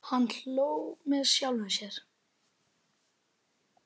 Hann hló með sjálfum sér.